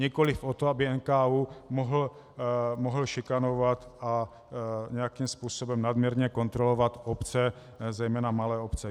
Nikoliv o to, aby NKÚ mohl šikanovat a nějakým způsobem nadměrně kontrolovat obce, zejména malé obce.